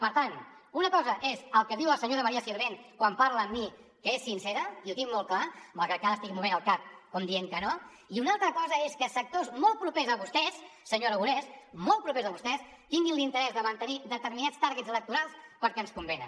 per tant una cosa és el que diu la senyora maria sirvent quan parla amb mi que és sincera i ho tinc molt clar malgrat que ara estigui movent el cap com dient que no i una altra cosa és que sectors molt propers a vostès senyor aragonés molt propers a vostès tinguin l’interès de mantenir determinats targetsens convenen